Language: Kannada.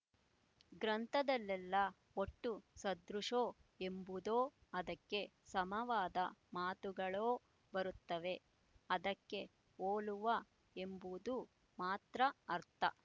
ಗ್ರಂಥದಲ್ಲೆಲ್ಲ ಒಟ್ಟು ಸದೃಶೋ ಎಂಬುದೊ ಅದಕ್ಕೆ ಸಮವಾದ ಮಾತುಗಳೊ ಬರುತ್ತವೆ ಅದಕ್ಕೆ ಹೋಲುವ ಎಂಬುದು ಮಾತ್ರ ಅರ್ಥ